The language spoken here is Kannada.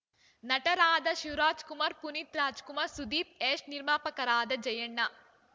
ನಟರಾದ ಶಿವರಾಜ್‌ಕುಮಾರ್‌ ಪುನೀತ್‌ ರಾಜ್‌ಕುಮಾರ್‌ ಸುದೀಪ್‌ ಯಶ್‌ ನಿರ್ಮಾಪಕರಾದ ಜಯಣ್ಣ